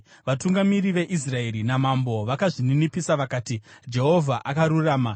Vatungamiri veIsraeri namambo vakazvininipisa vakati, “Jehovha akarurama.”